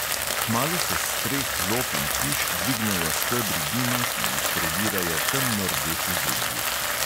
Kmalu se s streh lop in hiš dvignejo stebri dima, ki jih predirajo temno rdeči zublji.